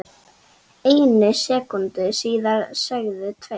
einni sekúndu síðar segðu tveir